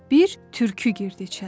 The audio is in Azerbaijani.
Bir tülkü girdi içəri.